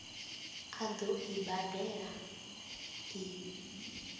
a ḓo i badela i